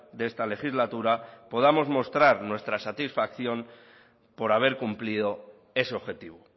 de esta legislatura podamos mostrar nuestra satisfacción por haber cumplido ese objetivo